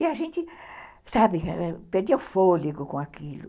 E a gente, sabe, perdia o fôlego com aquilo.